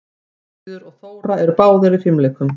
Sigríður og Þóra eru báðar í fimleikum.